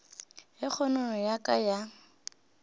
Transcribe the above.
ge kgonono ya ka ya